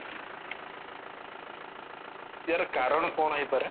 ୟାର କାରଣ କଣ ହେଇପାରେ